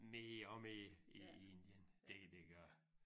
Mere og mere i i Indien det det gør det